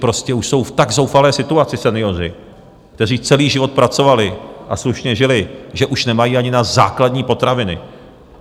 Prostě už jsou v tak zoufalé situaci senioři, kteří celý život pracovali a slušně žili, že už nemají ani na základní potraviny.